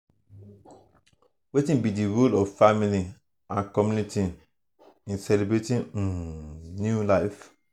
wetin be di role of family and community um in celebrating um new life?